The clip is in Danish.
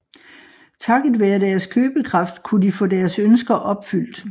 Takket være deres købekraft kunne de få deres ønsker opfyldt